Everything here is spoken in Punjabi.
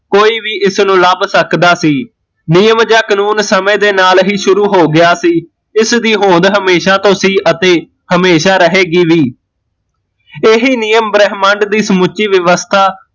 ਕੋਈ ਵੀ ਇਸਨੂ ਲੱਭ ਸਕਦਾ ਸੀ, ਨਿਯਮ ਜਾਂ ਕਾਨੂੰਨ ਸਮੇ ਦੇ ਨਾਲ਼ ਹੀਂ ਸ਼ੁਰੂ ਹੋ ਗਿਆ ਸੀ ਇਸਦੀ ਹੋਂਦ ਹਮੇਸ਼ਾ ਤੋਂ ਸੀ ਅਤੇ ਹਮੇਸ਼ਾ ਰਹੇਗੀ ਵੀ, ਏਹੀ ਨਿਯਮ ਬ੍ਰਹਮੰਡ ਦੀ ਸਮੁੱਚੀ ਵਿਵਸਥਾ